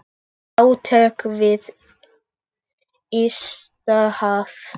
Átök við ysta haf.